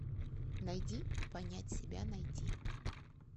найди понять себя найти